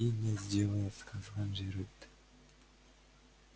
и не сделает сказал джералд